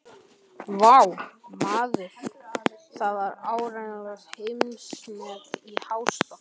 Vá, maður, það var áreiðanlega heimsmet í hástökki.